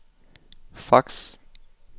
fax